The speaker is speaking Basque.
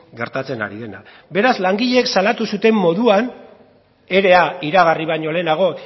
gertatzen ari dena beraz langileek salatu zuten moduan ere iragarri baino lehenago